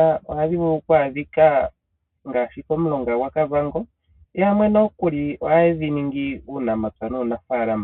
a ohadhi vulu oku adhika ngaashi momulonga gwaKavango, yamwe nokuli ohaye dhi ningi uunamapya nuunafaalama.